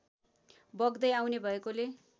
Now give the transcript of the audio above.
बग्दै आउने भएकाले